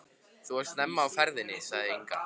Þú ert snemma á ferðinni, sagði Inga.